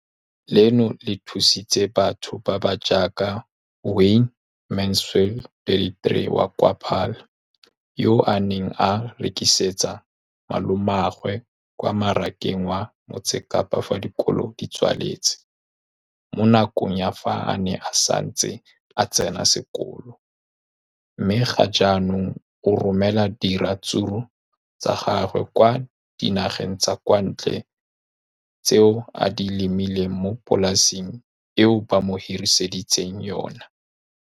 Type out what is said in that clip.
Leno le thusitse batho ba ba jaaka Wayne Mansfield, 33, wa kwa Paarl, yo a neng a rekisetsa malomagwe kwa Marakeng wa Motsekapa fa dikolo di tswaletse, mo nakong ya fa a ne a santse a tsena sekolo, mme ga jaanong o romela diratsuru tsa gagwe kwa dinageng tsa kwa ntle tseo a di lemileng mo polaseng eo ba mo hiriseditseng yona.